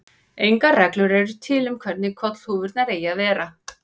Engar reglur eru til um hvernig kollhúfurnar eigi að vera.